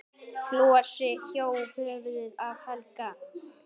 Flosi hjó höfuðið af Helga.